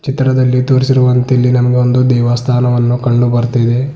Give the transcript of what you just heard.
ಚಿತ್ರದಲ್ಲಿ ತೋರಿಸಿರುವಂತೆ ಇಲ್ಲಿ ನಮಗೆ ಒಂದು ದೇವಸ್ಥಾನವನ್ನು ಕಂಡುಬರ್ತಿದೆ.